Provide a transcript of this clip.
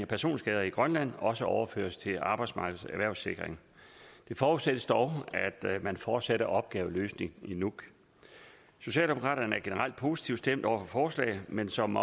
personskader i grønland også overføres til arbejdsmarkedets erhvervssikring det forudsættes dog at man fortsætter opgaveløsningen i nuuk socialdemokraterne er generelt positivt stemt over for forslaget men som